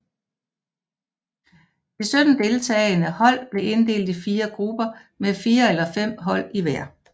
De 17 deltagende hold blev inddelt i fire grupper med fire eller fem hold i hver